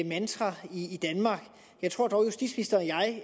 mantra i danmark jeg tror dog